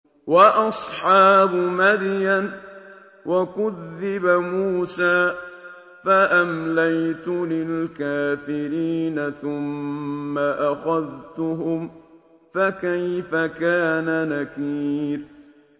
وَأَصْحَابُ مَدْيَنَ ۖ وَكُذِّبَ مُوسَىٰ فَأَمْلَيْتُ لِلْكَافِرِينَ ثُمَّ أَخَذْتُهُمْ ۖ فَكَيْفَ كَانَ نَكِيرِ